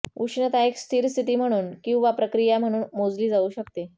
उष्णता एक स्थिर स्थिती म्हणून किंवा प्रक्रिया म्हणून मोजली जाऊ शकते